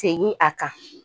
Segin a kan